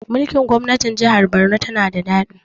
Mulkin gwamnatin jahar Borno na da daɗi